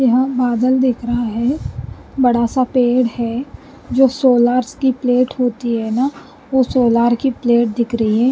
यहांँ बादल दिख रहा है बड़ा-सा पेड़ है जो सोलरस की प्लेट होती है ना वो सोलार की प्लेट दिख रही है ।